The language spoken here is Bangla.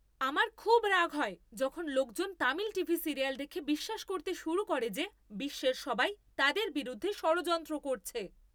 আমার খুব রাগ হয় যখন লোকজন তামিল টিভি সিরিয়াল দেখে বিশ্বাস করতে শুরু করে যে বিশ্বের সবাই তাদের বিরুদ্ধে ষড়যন্ত্র করছে।